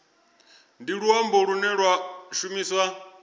ndi luambo lune lwa shumiswa